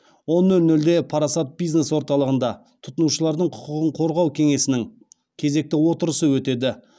он нөл нөлде парасат бизнес орталығында тұтынушылардың құқығын қорғау кеңесінің кезекті отырысы өтеді